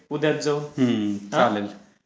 मग उद्याचा जाऊन.